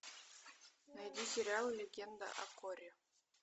найди сериал легенда о корре